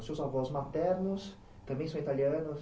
Os seus avós maternos também são italianos?